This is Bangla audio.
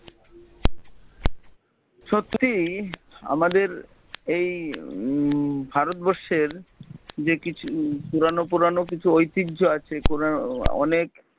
সত্যিই আমাদের এই উম ভারত বর্ষের যে কিছু পুরানো পুরানো কিছু এতিহ্য আছে কোনো অনেক